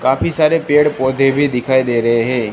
काफी सारे पेड़ पौधे भी दिखाई दे रहे हैं।